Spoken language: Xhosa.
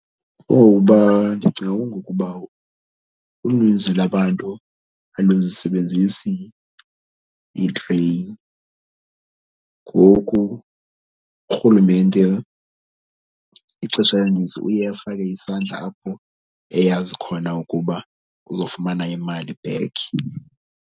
Kungokuba ndicinga kungokuba uninzi lwabantu aluzisebenzisi itreyini ngoku urhulumente ixesha elinintsi uye afake isandla apho eyazi khona ukuba uzofumana imali back.